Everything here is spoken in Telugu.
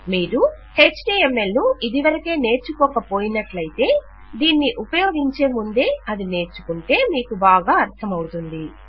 మీరు ఎచ్టీఎంఎల్ ను ఇదివరకే నేర్చుకోక పోయినట్లయితే దీన్ని ఉపయోగించే ముందే అది నేర్చుకుంటే మీకు బాగా అర్థమవుతుంది